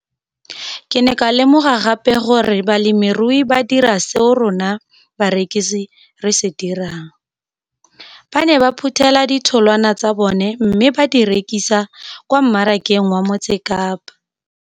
Ke ne ka lemoga gape gore balemirui ba dira seo rona barekisi re se dirang - ba ne ba phuthela ditholwana tsa bona mme ba di rekisa kwa marakeng wa Motsekapa.